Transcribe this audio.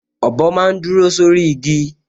Ọ̀bọ máa n dúró sórí igi